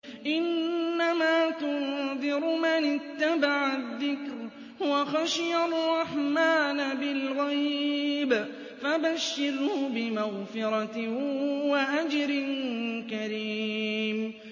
إِنَّمَا تُنذِرُ مَنِ اتَّبَعَ الذِّكْرَ وَخَشِيَ الرَّحْمَٰنَ بِالْغَيْبِ ۖ فَبَشِّرْهُ بِمَغْفِرَةٍ وَأَجْرٍ كَرِيمٍ